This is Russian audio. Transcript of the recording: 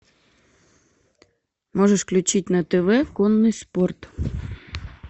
можешь включить на тв конный спорт